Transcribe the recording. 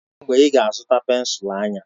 Kedu mgbe ị ga-azụta pensụl anya?